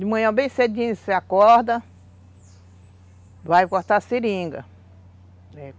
De manhã bem cedinho você acorda, vai cortar a seringa.